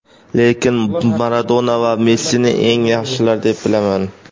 lekin Maradona va Messini eng yaxshilar deb bilaman.